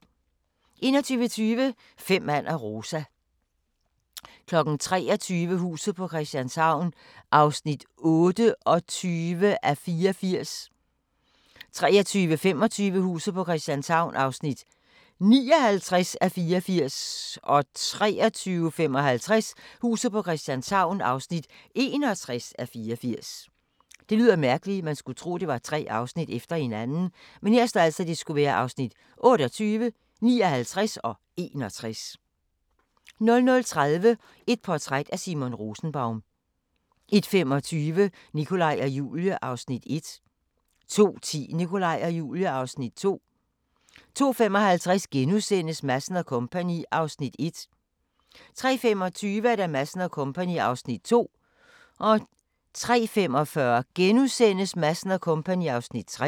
21:20: Fem mand og Rosa 23:00: Huset på Christianshavn (28:84) 23:25: Huset på Christianshavn (59:84) 23:55: Huset på Christianshavn (61:84) 00:30: Et portræt af Simon Rosenbaum 01:25: Nikolaj og Julie (Afs. 1) 02:10: Nikolaj og Julie (Afs. 2) 02:55: Madsen & Co. (Afs. 1)* 03:25: Madsen & Co. (Afs. 2) 03:45: Madsen & Co. (Afs. 3)*